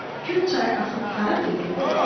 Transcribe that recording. Kür çayı axıb hara tökülür?